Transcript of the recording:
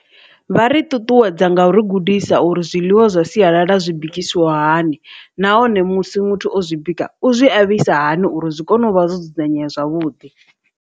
Vha ri ṱuṱuwedza nga uri gudisa uri zwiḽiwa zwa sialala zwi bikisiwa hani nahone musi muthu o zwi bika u zwi a vhuisa hani uri zwi kone u vha zwo dzudzanyea zwavhuḓi.